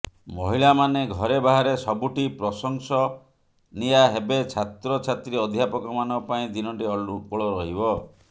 ମହିଳାମାନେ ଘରେ ବାହାରେ ସବୁଠି ପ୍ରଶଂସନୀୟା ହେବେ ଛାତ୍ର ଛାତ୍ରୀ ଅଧ୍ୟାପକମାନଙ୍କ ପାଇଁ ଦିନଟି ଅନୁକୂଳ ରହିବ